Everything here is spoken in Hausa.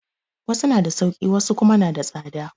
Wasu na da sauƙi wasu kuma na da tsada